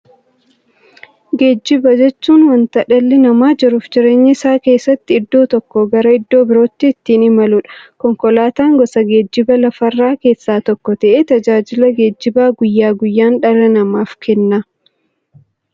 Geejjiba jechuun wanta dhalli namaa jiruuf jireenya isaa keessatti iddoo tokkoo gara iddoo birootti ittiin imaluudha. Konkolaatan gosa geejjibaa lafarraa keessaa tokko ta'ee, tajaajila geejjibaa guyyaa guyyaan dhala namaaf kenna.